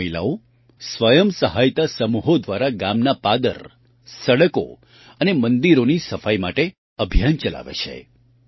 આ મહિલાઓ સ્વયં સહાયતા સમૂહો દ્વારા ગામના પાદર સડકો અને મંદિરોની સફાઈ માટે અભિયાન ચલાવે છે